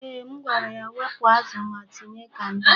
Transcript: Eeh, m gwara ya wepụ azụ ma tinye kanda.